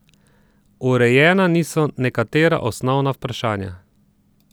Urejena niso nekatera osnovna vprašanja.